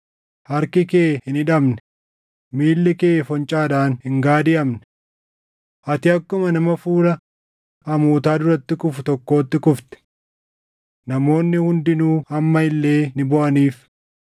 Harki kee hin hidhamne; miilli kee foncaadhaan hin gaadiʼamne. Ati akkuma nama fuula hamootaa duratti kufu tokkootti kufte.” Namoonni hundinuu amma illee ni booʼaniif.